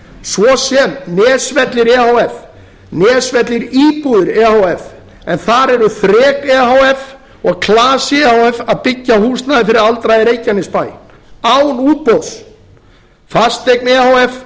svo sem nesvellir efh nesvellir íbúðir e h f en þar eru þrek e h f og klasi e h f að byggja húsnæði fyrir aldraða í reykjanesbæ án útboðs fasteign